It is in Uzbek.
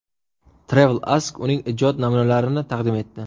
TravelAsk uning ijod namunalarini taqdim etdi .